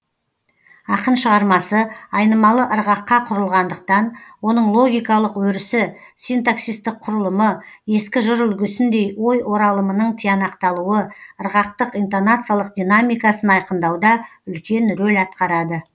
ақын шығармасы айнымалы ырғаққа құрылғандықтан оның логикалық өрісі синтаксистік құрылымы ескі жыр үлгісіндей ой оралымының тиянақталуы ырғақтық интонациялық динамикасын айқындауда үлкен рөл атқарады